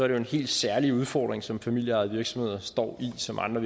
en hel særlig udfordring som familieejede virksomheder står i og som andre